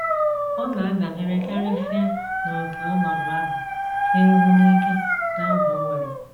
Ọ na - adabere karịsịa n’ókè ọnọdụ ahụ siruru n’ike na oge o were.